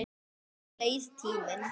Svo leið tíminn.